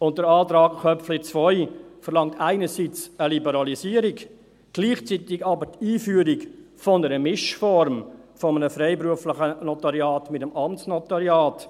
Und der Antrag Köpfli 2 verlangt einerseits eine Liberalisierung, gleichzeitig aber die Einführung einer Mischform des freiberuflichen Notariats mit dem Amtsnotariat.